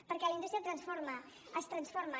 perquè la indústria transforma es transforma